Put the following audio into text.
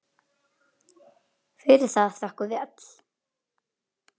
Fyrir það þökkum við öll.